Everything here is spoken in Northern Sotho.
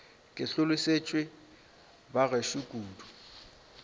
ke hlolosetšwe ba gešo kudu